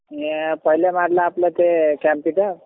पहिले मारलं ते